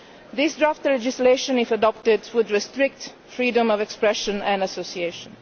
This draft legislation, if adopted, would restrict freedom of expression and association.